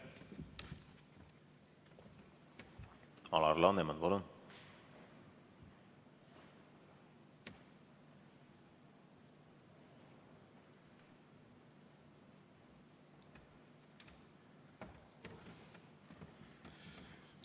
Alar Laneman, palun!